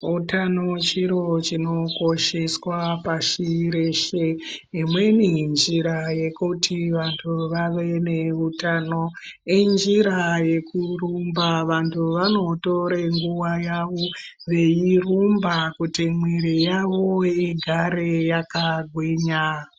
Utano chiro chinokosheswa pashi reshe imweni njira yekuti vantu vave neutano injira yekurumba vantu vanotore nguwa yavo veirumba kuti mwiri yavo igare yakagwinya.